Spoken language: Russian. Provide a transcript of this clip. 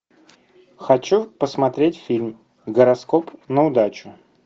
хочу посмотреть фильм гороскоп на удачу